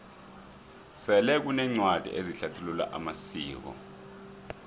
sele kuneencwadi ezihlathulula amasiko